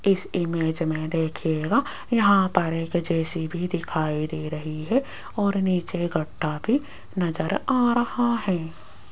इस इमेज में देखिएगा यहां पर एक जे_सी_बी दिखाई दे रही है और नीचे गड्ढा भी नजर आ रहा है।